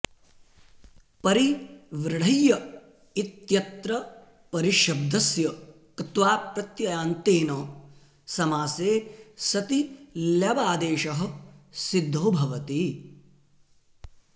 परिव्रढय्य इत्यत्र परिशब्दस्य क्त्वाप्रत्ययान्तेन समासे सति ल्यबादेशः सिद्धो भवति